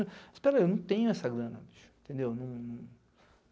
Espera aí, eu não tenho essa grana, entendeu? Não